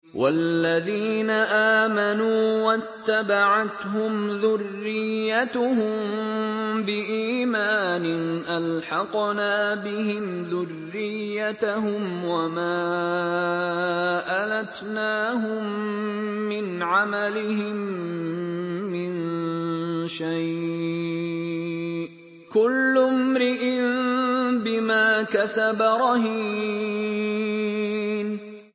وَالَّذِينَ آمَنُوا وَاتَّبَعَتْهُمْ ذُرِّيَّتُهُم بِإِيمَانٍ أَلْحَقْنَا بِهِمْ ذُرِّيَّتَهُمْ وَمَا أَلَتْنَاهُم مِّنْ عَمَلِهِم مِّن شَيْءٍ ۚ كُلُّ امْرِئٍ بِمَا كَسَبَ رَهِينٌ